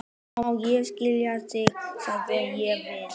Má ég eiga þær, segi ég við hann.